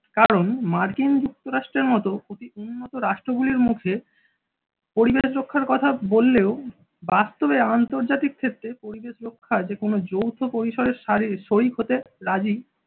কারণ মার্কিন যুক্তরাষ্ট্রের মতো অতি উন্নত রাষ্ট্র গুলির মুখে পরিবেশ রক্ষার কথা বললেও বাস্তবে আন্তর্জাতিক ক্ষেত্রে পরিবেশ রক্ষা যে কোনো যৌথ পরিসরের শারিক শরিক হতে রাজি।